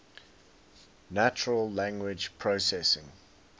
natural language processing